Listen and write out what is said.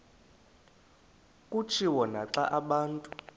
kutshiwo naxa abantu